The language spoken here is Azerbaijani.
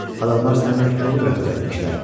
Adamlar səninlə kobud rəftar etmişlər.